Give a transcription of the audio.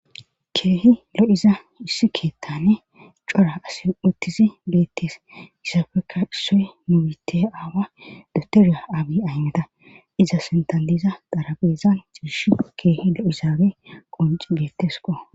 Keehi lo7iza issi keettane cora asi uttizi geettes issafeka issoe muwite aawa dotera abi aymeda iza sentaliza darabezan jiish keehi lo7isaage qonci beetteskko.